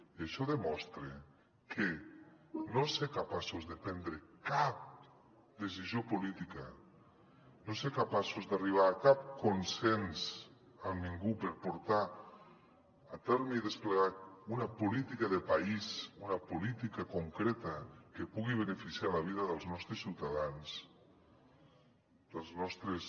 i això demostra que no ser capaços de prendre cap decisió política no ser capaços d’arribar a cap consens amb ningú per portar a terme i desplegar una política de país una política concreta que pugui beneficiar la vida dels nostres ciutadans dels nostres